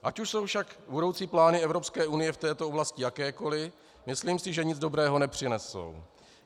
Ať už jsou však budoucí plány Evropské unie v této oblasti jakékoli, myslím si, že nic dobrého nepřinesou.